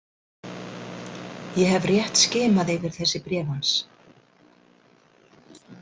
Ég hef rétt skimað yfir þessi bréf hans.